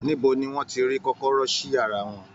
Níbo ni wọn ti ri kọ̀kọ̀rọ̀ sí yàrá wọn?